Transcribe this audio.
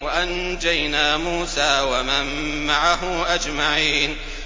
وَأَنجَيْنَا مُوسَىٰ وَمَن مَّعَهُ أَجْمَعِينَ